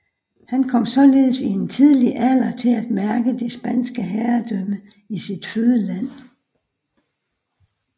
Han kom således i en tidlig alder til at mærke det spanske herredømme i sit fødeland